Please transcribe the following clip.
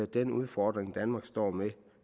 den udfordring danmark står med